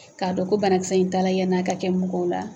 K'a dɔn ko bana kisɛ in taara yan'a ka kɛ mɔgɔw la.